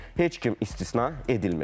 Heç kim istisna edilməyəcək.